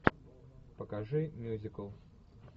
покажи мюзикл